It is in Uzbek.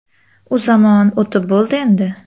U zamon o‘tib bo‘ldi endi.